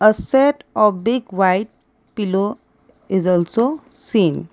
a set a big white pillow is also seen.